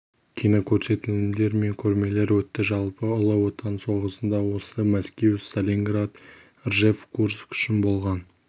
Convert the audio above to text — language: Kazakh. кинокөрсетілімдер мен көрмелер өтті жалпы ұлы отан соғысында осы мәскеу сталинград ржев курск үшін болған